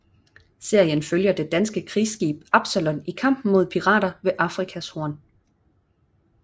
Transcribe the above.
Serien følger det danske krigsskib Absalon i kampen mod pirater ved Afrikas Horn